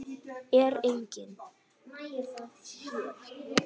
Er enginn?